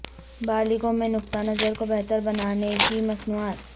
بالغوں میں نقطہ نظر کو بہتر بنانے کی مصنوعات